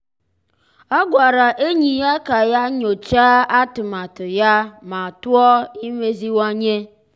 ọ́ gwàrà ényì ya kà yá nyòcháá atụmatụ ya ma tụ́ọ́ imeziwanye.